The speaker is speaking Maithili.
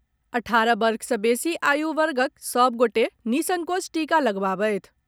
अठारह वर्ष सँ बेसी आयु वर्गक सभ गोटे निःसंकोच टीका लगबावथि।